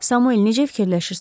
Samuel necə fikirləşirsən?